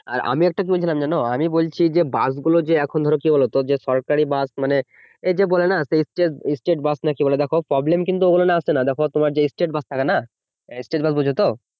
আর আমি একটা কি বলছিলাম যেন আমি বলছি যে বাস গুলো এখন ধরো কি হচ্ছে বলতো যে সরকারি বাস মানে এই যে বলেন যে state বাস না কি বলেন দেখো problem কিন্তু ঐখানে আসছেনা দেখো তোমার যে state বাস থাকে না state বাস বোঝতো